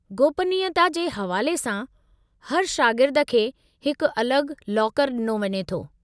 गोपनीयता जे हवाले सां, हर शागिर्द खे हिकु अलॻि लाकरु ॾिनो वञे थो।